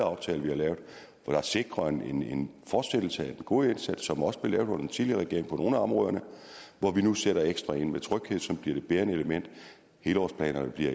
aftale vi har lavet er sikret en en fortsættelse af den gode indsats som også blev gjort under den tidligere regering på nogle af områderne hvor vi nu sætter ekstra ind med tryghed som bliver det bærende element helhedsplanerne bliver